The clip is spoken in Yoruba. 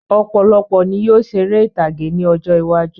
Ọ̀pọ̀lọpọ̀ ní yóò ṣeré ìtàgé ní ọjọ́ iwájú